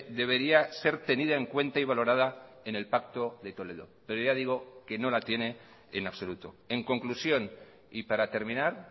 debería ser tenida en cuenta y valorada en el pacto de toledo pero ya digo que no la tiene en absoluto en conclusión y para terminar